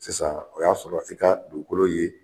Sisan o y'a sɔrɔ i ka dugukolo ye